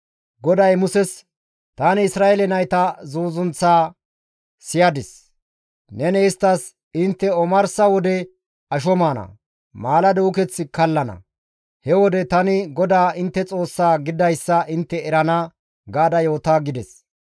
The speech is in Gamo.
GODAY Muses, «Tani Isra7eele nayta zuuzunththaa siyadis; neni isttas, ‹Intte omarsa wode asho maana; maalado uketh kallana; he wode tani GODAA intte Xoossaa gididayssa intte erana› gaada yoota» gides.